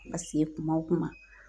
Ma se kuma o kuma